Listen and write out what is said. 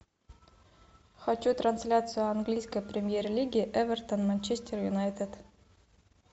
хочу трансляцию английской премьер лиги эвертон манчестер юнайтед